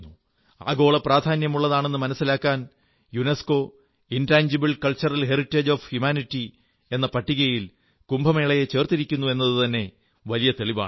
ആഗോള പ്രാധാന്യമുള്ളതാണെന്നു മനിസ്സിലാക്കാൻ UNESCO intangible cultural heritage of humanity എന്ന പട്ടികയിൽ ചേർത്തിരിക്കുന്നു എന്നതുതന്നെ വലിയ തെളിവാണ്